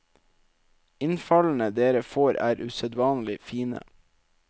Innfallene dere får er usedvanlig fine.